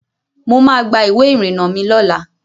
Mo ma gba ìwé ìrìnà mi lọ́la.